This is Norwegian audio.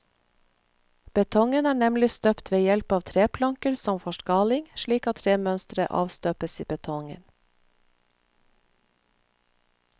Betongen er nemlig støpt ved hjelp av treplanker som forskaling, slik at tremønsteret avstøpes i betongen.